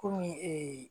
Kɔmi